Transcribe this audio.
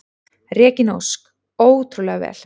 Regína Ósk: Ótrúlega vel.